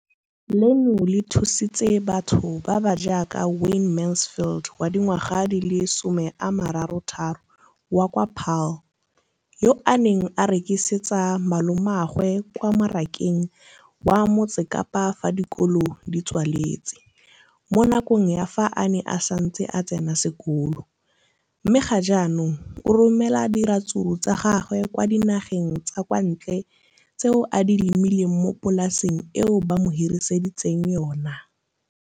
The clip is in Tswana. leno le thusitse batho ba ba jaaka Wayne Mansfield 33 wa kwa Paarl, yo a neng a rekisetsa malomagwe kwa Marakeng wa Motsekapa fa dikolo di tswaletse, mo nakong ya fa a ne a santse a tsena sekolo, mme ga jaanong o romela diratsuru tsa gagwe kwa dinageng tsa kwa ntle tseo a di lemileng mo polaseng eo ba mo hiriseditseng yona.